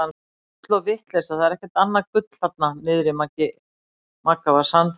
Bull og vitleysa það er ekkert annað en gull þarna niðri Magga var sannfærandi.